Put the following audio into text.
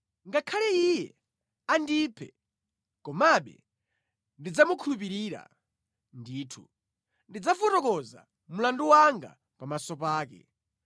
Ngakhale Iye andiphe, komabe ndidzamukhulupirira; ndithu, ndidzafotokoza mlandu wanga pamaso pake.